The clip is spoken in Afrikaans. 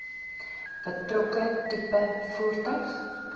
betrokke tipe voertuig